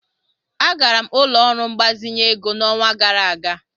Agara m ụlọ ọrụ mgbazinye ego n'ọnwa gara aga.